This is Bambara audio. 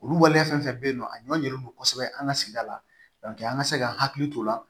Olu waleya fɛn fɛn bɛ yen nɔ a ɲɔn ɲɛlen don kosɛbɛ an ka sigida la an ka se ka hakili to o la